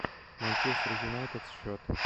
манчестер юнайтед счет